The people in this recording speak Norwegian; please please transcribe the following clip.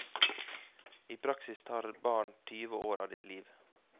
I praksis tar barn tyve år av ditt liv.